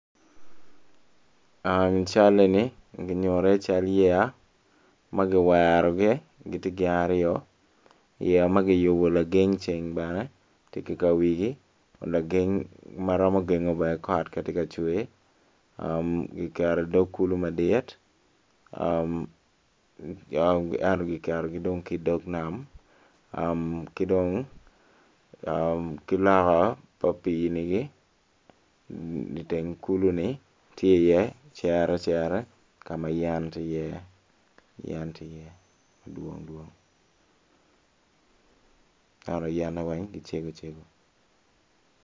Cal eni nyuto cal yeya ma ki wero gi aryo ki geng me kot ma tye ka cwer gitye i dog nam ki loka pa pii ni tye i ye cere cere yen dwong dwong.